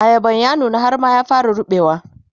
ayaban ya nuna har ma ya fara ruɓewa